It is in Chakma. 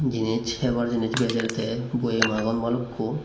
jinis hebar jinis bejer te boyem agon balukko.